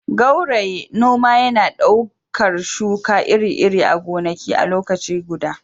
gauraye- noma yana ɗaukar shuka iri-iri a gonaki a lokaci guda